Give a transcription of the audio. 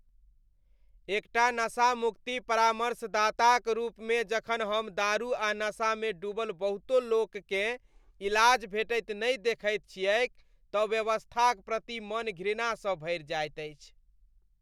एकटा नशामुक्ति परामर्शदाताक रूपमे जखन हम दारू आ नशामे डूबल बहुतो लोककेँ इलाज भेटैत नहि देखैत छियैक तँ व्यवस्थाक प्रति मन घृणासँ भरि जाइत अछि।